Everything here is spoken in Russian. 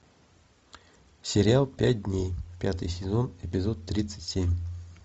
сериал пять дней пятый сезон эпизод тридцать семь